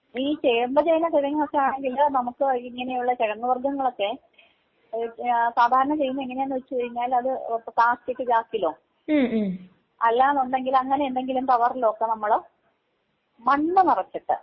ഈ ചേമ്പ്, ചേന, കിഴങ്ങൊക്കെ ആണെങ്കില് നമുക്ക് ഇങ്ങനെയുള്ള കിഴങ്ങ് വർഗങ്ങളൊക്കെ സാധാരണ ചെയ്യുന്നതെങ്ങനെയാണെന്ന് വച്ച് കഴിഞ്ഞാൽ അത് പ്ലാസ്റ്റിക്ക് ചാക്കിലോ അല്ലാന്നുണ്ടെങ്കില് അങ്ങനെ എന്തെങ്കിലും കവറിലൊക്കെ നമ്മള് മണ്ണ് നറച്ചിട്ട്